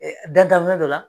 E dantan fɛn dɔ la.